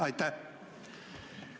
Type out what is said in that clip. Aitäh!